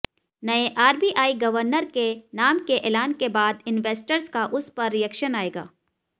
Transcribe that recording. नए RBI governor के नाम के ऐलान के बाद इनवेस्टर्स का उस पर रिएक्शन आएगा